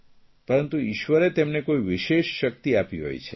પરંતુ ઇશ્વરે તેમને કોઇ વિશેષ શકિત આપી હોય છે